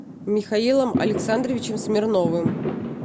михаилом александровичем смирновым